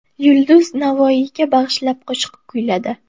Yulduz Navoiyga bag‘ishlab qo‘shiq kuyladi.